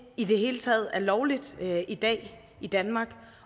i det hele taget er lovligt i dag i danmark